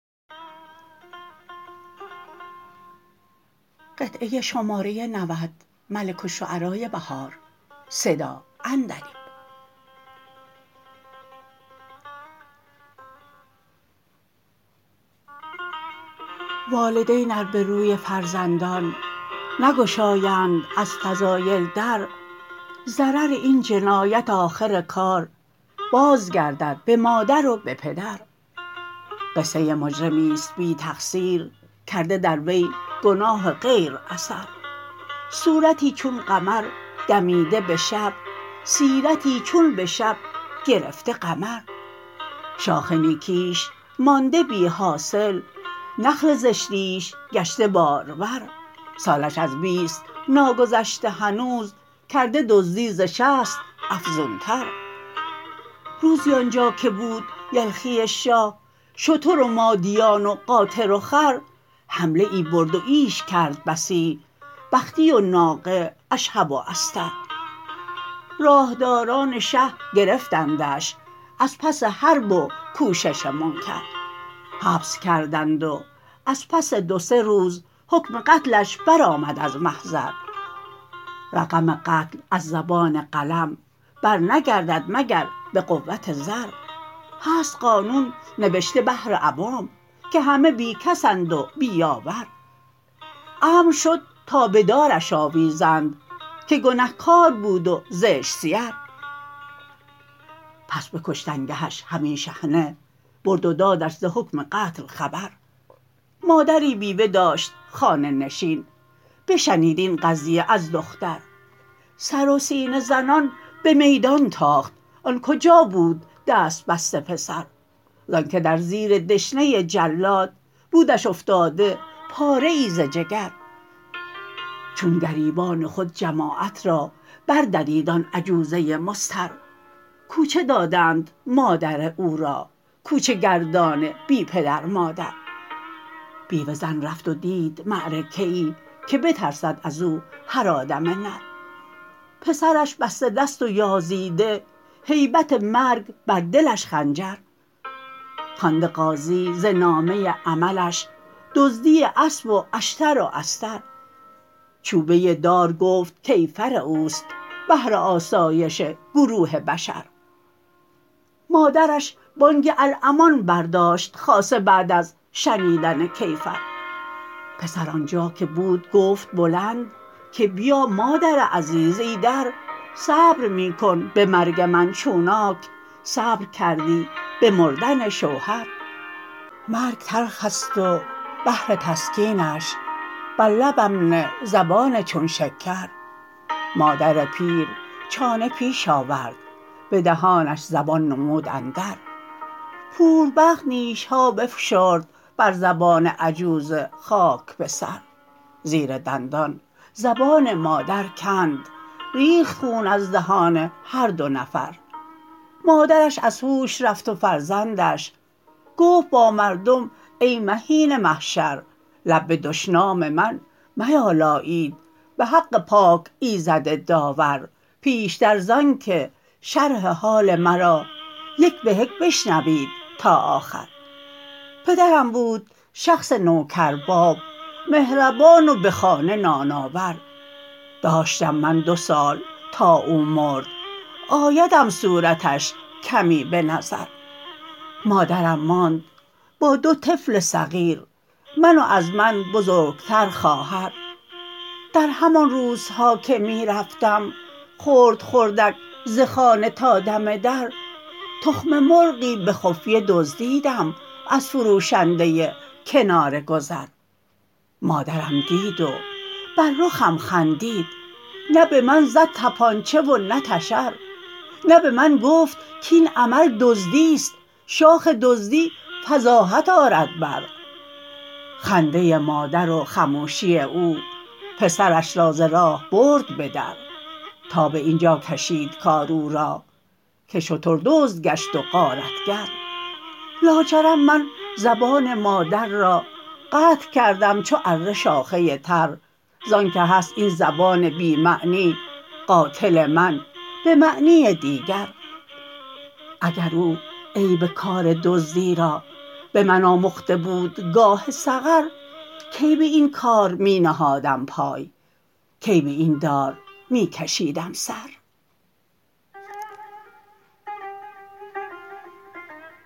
والدین ار به روی فرزندان نگشایند از فضایل در ضرر این جنایت آخر کار بازگردد به مادر و به پدر قصه مجرمی است بی تقصیر کرده در وی گناه غیر اثر صورتی چون قمر دمیده به شب سیرتی چون به شب گرفته قمر شاخ نیکیش مانده بی حاصل نخل زشتیش گشته بارآور سالش از بیست ناگذشته هنوز کرده دزدی ز شصت افزون تر روزی آنجا که بود یلخی شاه شتر و مادیان و قاطر و خر حمله ای برد و ییش کرد بسی بختی و ناقه اشهب و استر راه داران شه گرفتندش ازپس حرب و کوشش منکر حبس کردند و از پس دو سه روز حکم قتلش برآمد از محضر رقم قتل از زبان قلم برنگردد مگر به قوت زر هست قانون نوشته بهر عوام که همه بی کسند و بی یاور امر شد تا به دارش آویزند که گنه کار بود و زشت سیر پس به کشتنگهش همی شحنه برد و دادش ز حکم قتل خبر مادری بیوه داشت خانه نشین بشنید این قضیه از دختر سر و سینه زنان به میدان تاخت آن کجا بود دست بسته پسر زان که در زیر دشنه جلاد بودش افتاده پاره ای ز جگر چون گریبان خود جماعت را بردرید آن عجوزه مضطر کوچه دادند مادر او را کوچه گردان بی پدر مادر بیوه زن رفت و دید معرکه ای که بترسد از او هر آدم نر پسرش بسته دست و یاز یده هیبت مرگ بردلش خنجر خوانده قاضی ز نامه عملش دزدی اسب و اشتر و استر چوبه دار گفت کیفر اوست بهر آسایش گروه بشر مادرش بانگ الامان برداشت خاصه بعد از شنیدن کیفر پسر آنجاکه بودگفت بلند که بیا مادر عزیز ایدر صبر میکن به مرگ من چونانک صبر کردی به مردن شوهر مرگ تلخست و بهرتسکینش بر لبم نه زبان چون شکر مادر پیر چانه پیش آورد به دهانش زبان نمود اندر پور بدبخت نیش ها بفشرد بر زبان عجوز خاک بسر زیر دندان زبان مادر کند ریخت خون از دهان هر دو نفر مادرش از هوش رفت و فرزندنش گفت با مردم ای مهین معشر لب به دشنام من میالایید به حق پاک ایزد داور پیشتر زان که شرح حال مرا یک بهک بشنوید تا آخر پدرم بود شخص نوکر باب مهربان و به خانه نان آور داشتم من دو سال تا او مرد آیدم صورتش کمی به نظر مادرم ماند با دو طفل صغیر من و از من بزرگ تر خواهر در همان روزها که می رفتم خرد خردک ز خانه تا دم در تخم مرغی به خفیه دزدیدم از فروشنده کنارگذر مادرم دید و بر رخم خندید نه به من زد طپانچه ونه تشر نه به من گفت کاین عمل دزدیست شاخ دزدی فضاحت آرد بر خنده مادر و خموشی او پسرش را ز راه برد بدر تا به اینجا کشید کار او را که شتر دزد گشت و غارت گر لاجرم من زبان مادر را قطع کردم چو اره شاخه تر زان که هست این زبان بی معنی قاتل من به معنی دیگر اگر او عیب کار دزدی را به من آمخته بود گاه صغر کی به این کار می نهادم پای کی به این دار می کشیدم سر